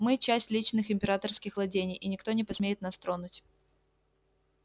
мы часть личных императорских владений и никто не посмеет нас тронуть